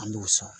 An b'u sɔn